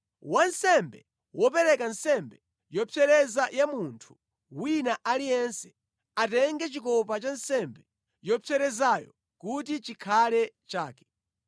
Wansembe wopereka nsembe yopsereza ya munthu wina aliyense, atenge chikopa cha nsembe yopserezayo kuti chikhale chake.